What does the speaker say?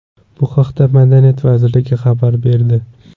Bu haqda Madaniyat vazirligi xabar berdi .